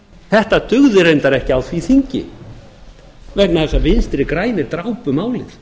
þetta dugði reyndar ekki á því þingi vegna þess að vinstri grænir drápu málið